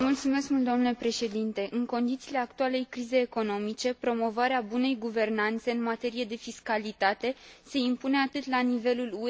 În condițiile actualei crizei economice, promovarea bunei guvernanțe în materie de fiscalitate se impune atât la nivelul UE, cât și în afara ei.